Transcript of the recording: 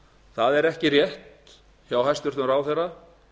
það er ekki rétt hjá hæstvirtum ráðherra